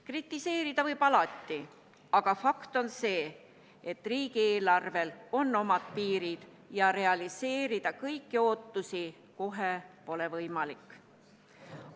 Kritiseerida võib alati, aga fakt on see, et riigieelarvel on omad piirid ja kõiki ootusi kohe realiseerida pole võimalik.